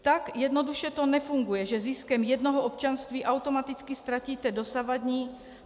Tak jednoduše to nefunguje, že ziskem jednoho občanství automaticky ztratíte dosavadní.